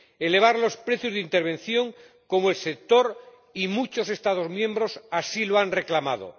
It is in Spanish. elevar los precios de intervención, como el sector y muchos Estados miembros han reclamado.